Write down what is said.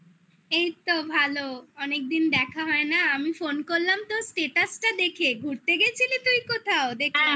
এইতো ভালো অনেকদিন দেখা হয় না আমি phone করলাম তোর status দেখে ঘুরতে গেছিলি তুই কোথাও দেখতে